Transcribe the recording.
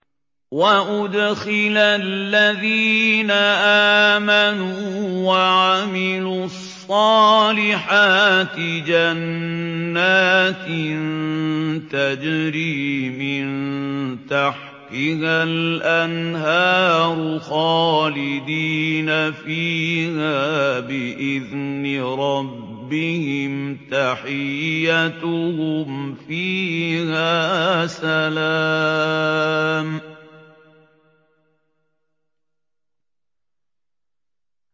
وَأُدْخِلَ الَّذِينَ آمَنُوا وَعَمِلُوا الصَّالِحَاتِ جَنَّاتٍ تَجْرِي مِن تَحْتِهَا الْأَنْهَارُ خَالِدِينَ فِيهَا بِإِذْنِ رَبِّهِمْ ۖ تَحِيَّتُهُمْ فِيهَا سَلَامٌ